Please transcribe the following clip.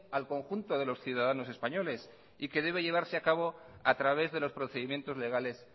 al conjunto de los ciudadanos españoles y que debe llevarse acabo a través de los procedimientos legales